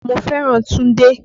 Mo fẹ́ràn Túndé.